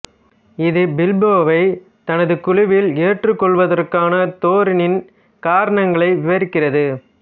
இது பில்போவைத் தனது குழுவில் ஏற்றுக்கொள்வதற்கான தோரினின் காரணங்களை விவரிக்கிறது